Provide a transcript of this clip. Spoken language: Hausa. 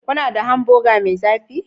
Kuna da hamburger mai zafi?